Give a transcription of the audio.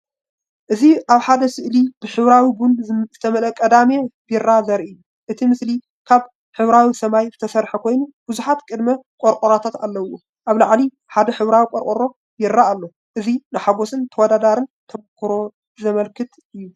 እዚ ኣብ ሓደ ስእሊ ብሕብራዊ ቡን ዝተመልአ "ቅዳመ" ቢራ ዘርኢ እዩ። እቲ ስእሊ ካብ ሕብራዊ ሰማይ ዝተሰርሐ ኮይኑ ብዙሓት "ቅዳመ" ቆርቆሮታት ኣለዎ። ኣብ ላዕሊ ሓደ ሕብራዊ ቆርቆሮ ቢራ ኣሎ። እዚ ንሓጎስን ተወዳዳሪን ተመክሮ ዝውክል እዩ።